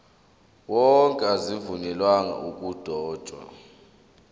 wonke azivunyelwanga ukudotshwa